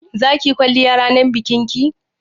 Za ki yi kwalliya ranar bikin ki?